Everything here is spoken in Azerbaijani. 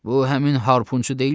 Bu həmin harpunçu deyil ki?